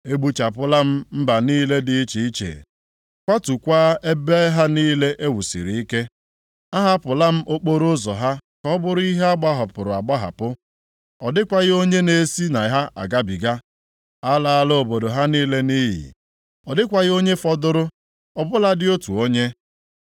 “Egbuchapụla m mba niile dị iche iche, kwatukwaa ebe ha niile e wusiri ike. Ahapụla m okporoụzọ ha ka ọ bụrụ ihe a gbahapụrụ agbahapụ, + 3:6 Ya bụ, nʼụzọ niile dere duu ọ dịkwaghị onye na-esi na ha agabiga. A laala obodo ha niile nʼiyi, ọ dịkwaghị onye fọdụrụ, ọ bụladị otu onye.